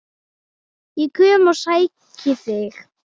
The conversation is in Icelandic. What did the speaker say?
Ég kem og sæki þig!